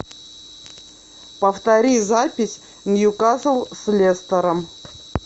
повтори запись ньюкасл с лестером